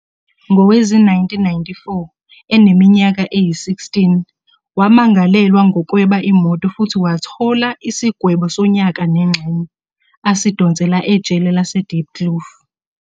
Ngowezi-1994, eneminyaka eyi-16, wamangalelwa ngokweba imoto futhi wathola isigwebo sonyaka nengxenye, asidonsela ejele LaseDiepkloof.